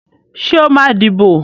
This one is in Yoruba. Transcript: Ṣé ó máa dìbò?